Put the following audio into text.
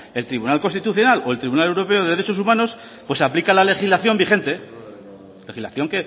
el tribunal constitucional o tribunal europeo de derechos humanos pues aplica la legislación vigente legislación